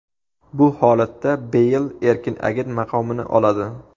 Bu holatda Beyl erkin agent maqomini oladi.